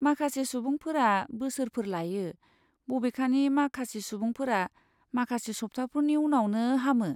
माखासे सुबुंफोरा बोसोरफोर लायो, बबेखानि माखासे सुबुंफोरा माखासे सब्थाफोरनि उनावनो हामो।